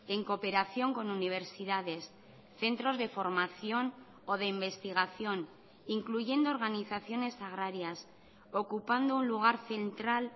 en cooperación con universidades centros de formación o de investigación incluyendo organizaciones agrarias ocupando un lugar central